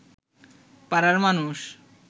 পাড়ার মানুষ